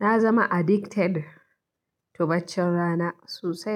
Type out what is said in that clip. na zama addicted to baccin rana sosai.